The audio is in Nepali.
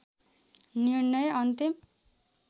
निर्णय अन्तिम